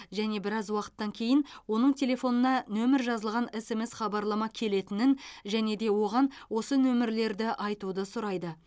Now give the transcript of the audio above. және біраз уақыттан кейін оның телефонына нөмір жазылған смс хабарлама келетінін және де оған осы нөмірлерді айтуды сұрайды